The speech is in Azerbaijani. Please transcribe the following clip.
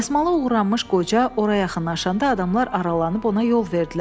Dəsmalı uğranmış qoca ora yaxınlaşanda adamlar aralanıb ona yol verdilər.